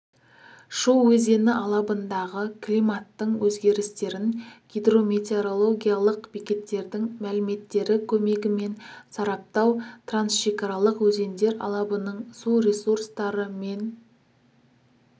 шу өзені алабындағы климаттың өзгерістерін гидрометеорологиялық бекеттердің мәліметтері көмегімен сараптау трансшекаралық өзендер алабының су ресурстары мен